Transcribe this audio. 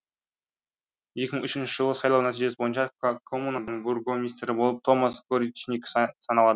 екі мың үшінші жылғы сайлау нәтижесі бойынша коммунаның бургомистрі болып томас горичниг саналады